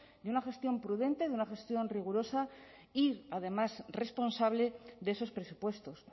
de una gestión prudente de una gestión rigurosa y además responsable de esos presupuestos